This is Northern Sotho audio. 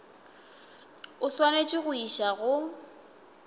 o swanetše go išwa go